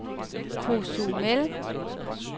Cozumel